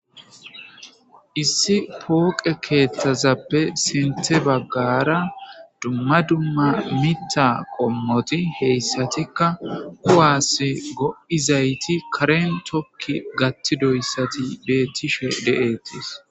issi pooqe keeththazappe sinthe baggara dumma dumma mitha qommoti hayssatikka kuwasi go7izayti karen tokki gathidoyssati beetishe de7ettees